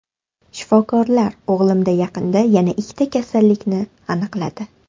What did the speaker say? Shifokorlar o‘g‘limda yaqinda yana ikkita kasallikni aniqladi.